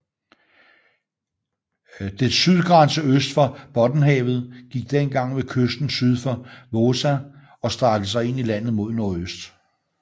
Dets sydgrænse øst for Bottenhavet gik dengag ved kysten syd for Vaasa og strakte sig ind i landet mod nordøst